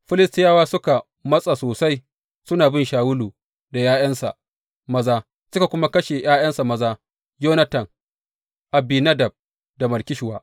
Filistiyawa suka matsa sosai suna bin Shawulu da ’ya’yansa maza, suka kuma kashe ’ya’yansa maza Yonatan, Abinadab da Malki Shuwa.